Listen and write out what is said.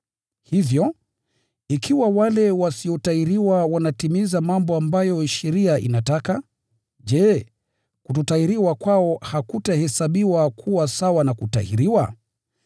Hivyo, ikiwa wale wasiotahiriwa wanatimiza mambo ambayo sheria inataka, je, kutokutahiriwa kwao hakutahesabiwa kuwa sawa na kutahiriwa?